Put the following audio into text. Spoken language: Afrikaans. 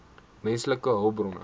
menslike hulpbronne